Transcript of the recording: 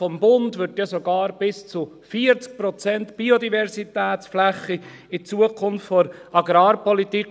Vom Bund angestrebt werden sogar bis zu 40 Prozent Biodiversitätsfläche in der Zukunft der Agrarpolitik.